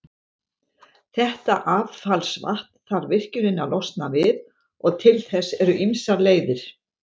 Þetta affallsvatn þarf virkjunin að losna við, og til þess eru ýmsar leiðir.